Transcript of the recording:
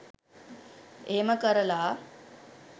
එහෙම කරලා